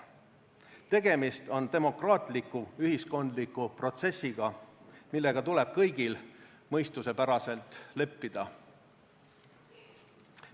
Tegemist on demokraatliku ühiskondliku protsessiga, millega tuleb kõigil mõistuspäraselt leppida.